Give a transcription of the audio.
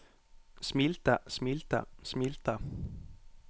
smilte smilte smilte